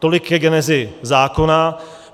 Tolik ke genezi zákona.